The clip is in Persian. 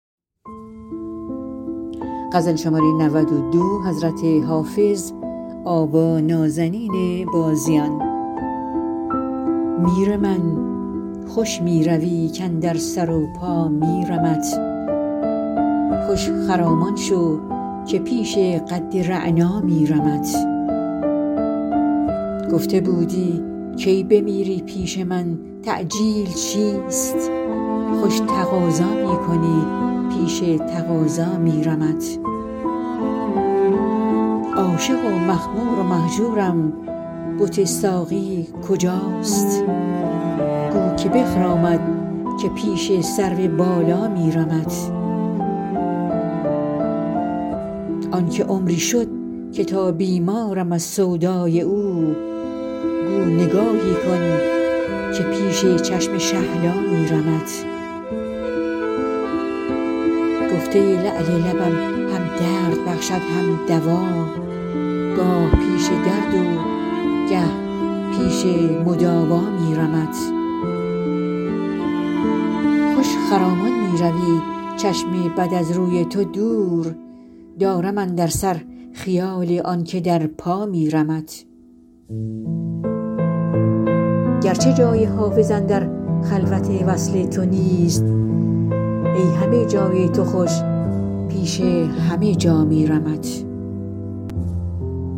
میر من خوش می روی کاندر سر و پا میرمت خوش خرامان شو که پیش قد رعنا میرمت گفته بودی کی بمیری پیش من تعجیل چیست خوش تقاضا می کنی پیش تقاضا میرمت عاشق و مخمور و مهجورم بت ساقی کجاست گو که بخرامد که پیش سرو بالا میرمت آن که عمری شد که تا بیمارم از سودای او گو نگاهی کن که پیش چشم شهلا میرمت گفته ای لعل لبم هم درد بخشد هم دوا گاه پیش درد و گه پیش مداوا میرمت خوش خرامان می روی چشم بد از روی تو دور دارم اندر سر خیال آن که در پا میرمت گرچه جای حافظ اندر خلوت وصل تو نیست ای همه جای تو خوش پیش همه جا میرمت